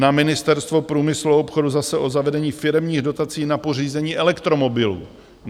Na Ministerstvu průmyslu a obchodu zase o zavedení firemních dotací na pořízení elektromobilů.